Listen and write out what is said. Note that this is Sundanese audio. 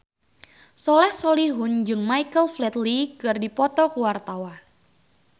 Soleh Solihun jeung Michael Flatley keur dipoto ku wartawan